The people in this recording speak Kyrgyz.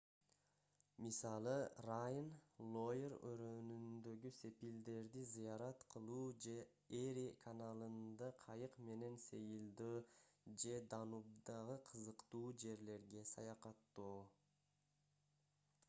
мисалы райн лойр өрөөнүндөгү сепилдерди зыярат кылуу же эри каналында кайык менен сейилдөө же данубдагы кызыктуу жерлерге саякаттоо